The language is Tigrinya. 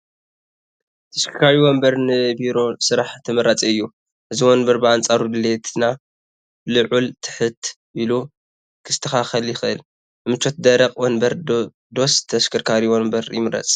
ተሽከርካሪ ወንበር ንቢሮ ስራሕ ተመራፂ እዩ፡፡ እዚ ወንበር ብኣንፃር ድሌትና ልዕል ትሕት ኢሉ ክስተኻኸል ይኽእል፡፡ ንምቾት ደረቕ ወንበር ዶስ ተሽከርካሪ ወንበር ይምረፅ?